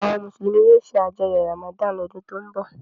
Àwọn Mùsùlùmí yóò ṣàjọyọ̀ Ramadan lọ́dún tó ń bọ̀.